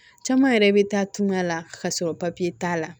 Caman yɛrɛ bɛ taa tunga la ka sɔrɔ papiye t'a la